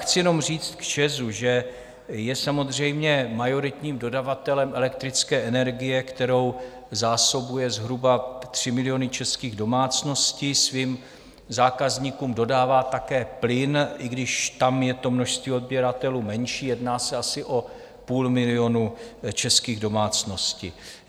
Chci jenom říct k ČEZu, že je samozřejmě majoritním dodavatelem elektrické energie, kterou zásobuje zhruba 3 miliony českých domácností, svým zákazníkům dodává také plyn, i když tam je to množství odběratelů menší, jedná se asi o půl milionu českých domácností.